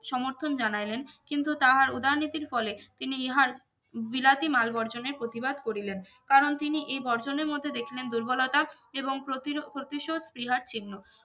সমর্থন জানাইলেন কিন্তু তাহার উদারনীতির ফলে তিনি ইহার বিলাতী মাল বর্জনের প্রতিবাদ করিলেন কারন তিনি এ ই বর্জনের মধ্যে দেখিলেন দুর্বলতা এবং প্রতির প্রতিশোধ ক্রিয়ার চিহ্ন